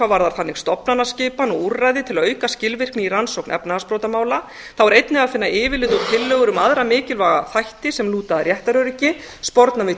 varðar þannig stofnanaskipan og úrræði til að auka skilvirkni í rannsókn efnahagsbrotamála þá er einnig að finna yfirlit og tillögur um aðra mikilvæga þætti sem lúta að réttaröryggi sporna við